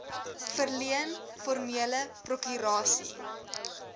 verleen formeel prokurasie